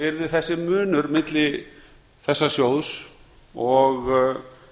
yrði þessi munur milli þessa sjóðs og